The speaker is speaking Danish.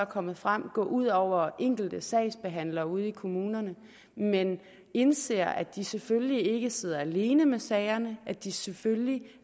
kommet frem gå ud over enkelte sagsbehandlere ude i kommunerne men indser at de selvfølgelig ikke skal sidde alene med sagerne at de selvfølgelig